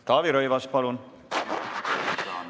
Taavi Rõivas, palun!